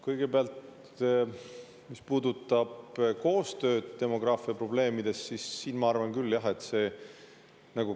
Kõigepealt, mis puudutab koostööd demograafiaprobleemides, siis siin ma arvan küll, et jah.